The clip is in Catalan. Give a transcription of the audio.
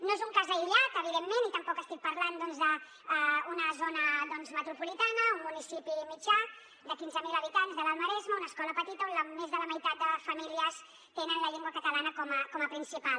no és un cas aïllat evidentment i tampoc estic parlant doncs d’una zona metropolitana un municipi mitjà de quinze mil habitants de l’alt maresme una escola petita on més de la meitat de famílies tenen la llengua catalana com a principal